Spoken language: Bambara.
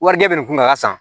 Warijɛ bɛ nin kunna a ka san